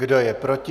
Kdo je proti?